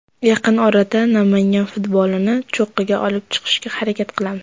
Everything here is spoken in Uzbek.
Yaqin orada Namangan futbolini cho‘qqiga olib chiqishga harakat qilamiz.